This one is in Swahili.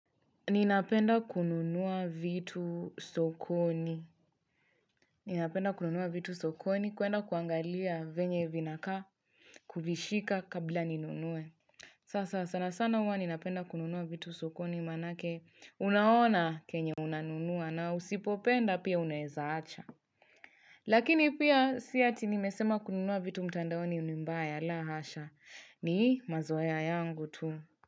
Ninapenda kununua vitu sokoni. Ninapenda kununua vitu sokoni kuenda kuangalia venye vinaka kuvishika kabla ninunue. Sasa sana sana uwa ninapenda kununua vitu sokoni manake unaona kenye unanunua na usipopenda pia unaezaacha. Lakini pia siya tinimesema kununua vitu mtandaoni unimbaya la hasha ni mazoea yangu tu.